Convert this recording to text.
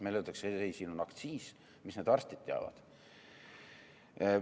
Meile öeldakse, et ei, siin on aktsiis, mida need arstid teavad.